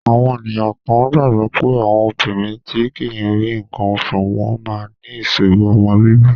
Àwọn ènìyàn kan gbàgbọ́ pé àwọn obìnrin tí kì í rí nǹkan oṣù wọ́n máa ní ìṣòro ọmọ bíbí.